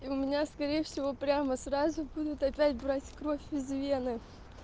у меня скорее всего прямо сразу будут опять брать кровь из вены